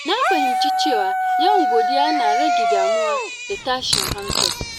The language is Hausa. Na fahimci cewa yawan godiya yana rage damuwa da tashin hankali.